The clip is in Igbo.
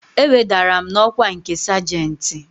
E wedara m n'ọkwa nke sajentị